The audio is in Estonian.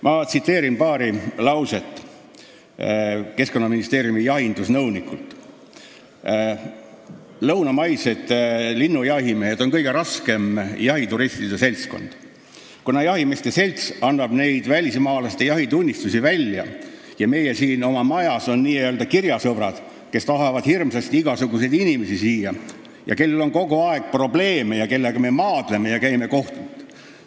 Ma tsiteerin Keskkonnaministeeriumi jahinduse nõuniku Tõnu Traksi paari lauset: "Lõunamaised linnujahimehed on kõige raskem jahituristide seltskond, kuna jahimeeste selts annab neid välismaalaste jahitunnistusi välja ja meie oma majas on n-ö kirjasõbrad, kes tahavad hirmsasti igasuguseid inimesi siia ja kellel on kogu aeg probleeme ja kellega me maadleme ja käime kohut.